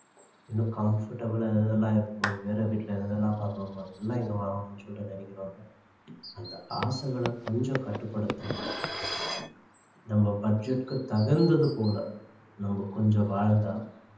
இன்னும் comfortable ஆ எது எதெல்லாம் இருக்கோ வேற வீட்டுல எது எதெல்லாம் பாக்குறோமோ அதெல்லாம் இங்க வாங்கணும்னு சொல்லிட்டு நினைக்கிறோம்ல அந்த ஆசைகளை கொஞ்சம் கட்டுப்படுத்தி நம்ம budget க்கு தகுந்தது போல நம்ம கொஞ்சம் வாழ்ந்தா